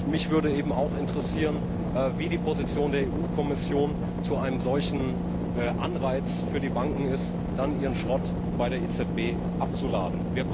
Mich würde auch interessieren, wie die Position der Europäischen Kommission zu einem solchen Anreiz für die Banken ist, dann ihren Schrott bei der EZB abzuladen.